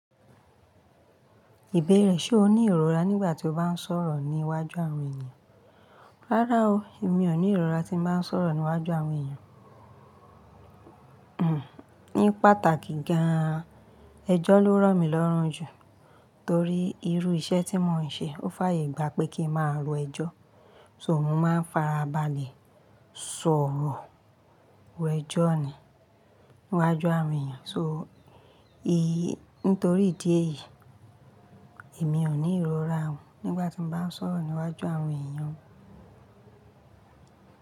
Ìbéèrè ṣe o ní ìrora nígbà tí o bá ń sọ̀rọ̀ ní iwájú àwọn èèyàn? Rárá o, èmi ò ní ìrora tí mo bá ń sọ̀rọ̀ ní iwájú àwọn èèyàn. Hmm, ní pàtàkì gan-an, ẹjọ́ ló ràn mí lọ́rùn jù. Torí irú iṣẹ́ tí mò ń ṣe, ó fàyè gbá pé kí ń máa ro ẹjọ́. So mò ń máa farabalẹ̀ sọ̀rọ̀ èẹ́jọ́ ni, ní iwájú àwọn èèyàn. So í, nítorí ìdí èyí, èmi ò ní ìrora nígbà tí mo bá ń sọ̀rọ̀ ní iwájú àwọn èèyàn.